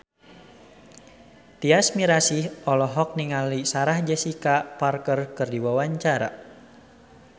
Tyas Mirasih olohok ningali Sarah Jessica Parker keur diwawancara